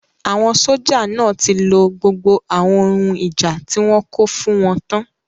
Àwọn sójà náà tí lo gbogbo àwọn ohun ìjà tí wọ́n kó fún wọn tán